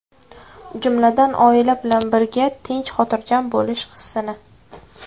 Jumladan, oila bilan birga tinch, xotirjam bo‘lish hissini.